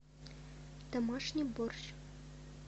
домашний борщ